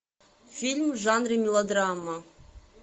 фильм в жанре мелодрама